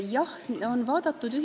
Jah, eri ühiskondi on vaadatud.